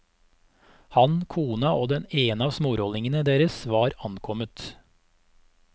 Han, kona og den ene av smårollingene deres var omkommet.